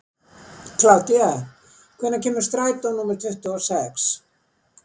Kládía, hvenær kemur strætó númer tuttugu og sex?